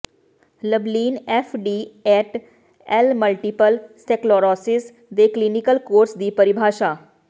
Lublin F D et al multiple sclerosis ਦੇ clinical course ਦੀ ਪਰਿਭਾਸ਼ਾ